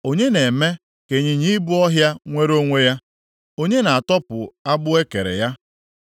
“Onye na-eme ka ịnyịnya ibu ọhịa nwere onwe ya? Onye na-atọpụ agbụ e kere ya?